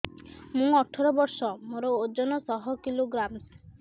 ମୁଁ ଅଠର ବର୍ଷ ମୋର ଓଜନ ଶହ କିଲୋଗ୍ରାମସ